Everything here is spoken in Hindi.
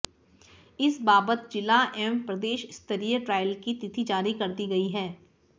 इस बाबत जिला एवं प्रदेशस्तरीय ट्रायल की तिथि जारी कर दी गई है